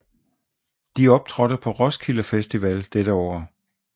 De optrådte på Roskilde Festival dette år